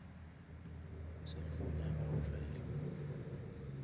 cellphone ya gago fela